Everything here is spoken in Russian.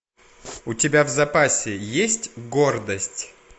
у тебя в запасе есть гордость